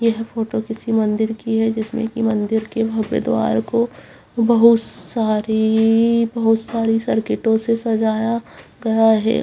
यह फोटो किसी मंदिर की है जिसमें की मंदिर के भव्य द्वार को बोहोत सारी बोहोत सारी सर्किटों से सजाया गया है।